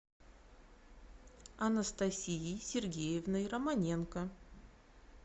анастасией сергеевной романенко